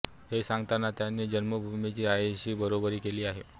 हे सांगताना त्यांनी जन्मभूमीची आईशी बरोबरी केली आहे